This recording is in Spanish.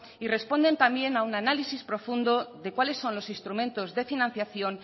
y responden también a un análisis profundo de cuáles son los instrumentos de financiación